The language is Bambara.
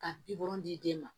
Ka bi wolonden ma